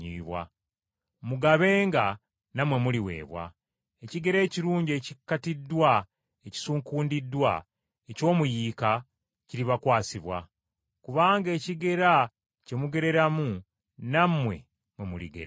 Mugabenga nammwe muliweebwa. Ekigera ekirungi ekikattiddwa, ekisuukundiddwa, eky’omuyiika kiribakwasibwa. Kubanga ekigera kye mugereramu nammwe mwe muligererwa.”